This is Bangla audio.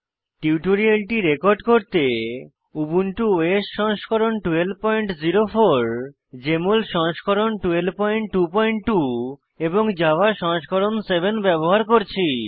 টিউটোরিয়ালটি রেকর্ড করতে উবুন্টু ওএস সংস্করণ 1204 জেএমএল সংস্করণ 1222 এবং জাভা সংস্করণ 7 ব্যবহার করছি